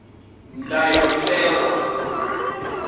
ndayotewa